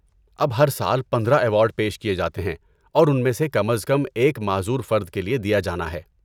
اب، ہر سال پندرہ ایوارڈ پیش کیے جاتے ہیں اور ان میں سے کم از کم ایک معذور فرد کے لیے دیا جانا ہے